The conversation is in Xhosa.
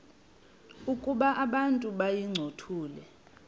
ukuba abantu bayincothule